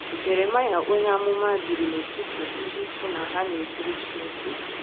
Jeremaịa onye amụma biri n'etiti ndị sị na ha na-ejere Chineke ozi.